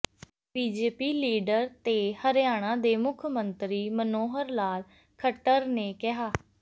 BJP leader ਤੇ ਹਰਿਆਣਾ ਦੇ ਮੁੱਖ ਮੰਤਰੀ ਮਨੋਹਰ ਲਾਲ ਖੱਟਰ ਨੇ ਕਿਹਾ